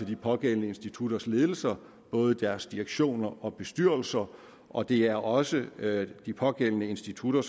de pågældende instutters ledelser deres direktioner og bestyrelser og det er også de pågældende institutter